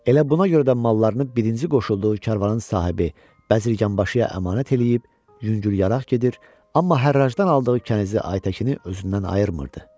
Elə buna görə də mallarını birinci qoşulduğu karvanın sahibi Bəzirgənbaşıya əmanət eləyib, yüngülyaraq gedir, amma hərrajdan aldığı kənizi Aytəkini özündən ayırmırdı.